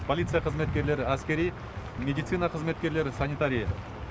полиция қызметкерлері әскери медицина қызметкерлері санитария